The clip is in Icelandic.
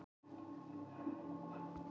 Dæmd sek.